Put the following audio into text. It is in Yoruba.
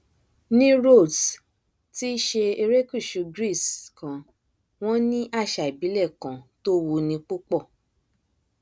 ní rhodes tí í ṣe erékùṣù greece kan wọn ní àṣà ìbílẹ kan tó wuni púpọ